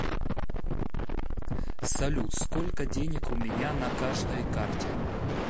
салют сколько денег у меня на каждой карте